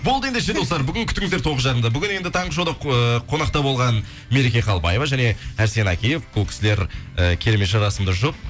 болды ендеше достар бүгін күтіңіздер тоғыз жарымда бүгін енді таңғы шоуда ыыы қонақта болған мереке қалыбаева және арсен акиев бұл кісілер ы керемет жарасымды жұп